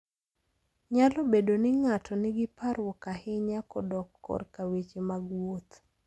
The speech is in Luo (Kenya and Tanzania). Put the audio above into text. Nyalo bedo ni ng'ato nigi parruok ahinya kodok korka weche mag wuoth.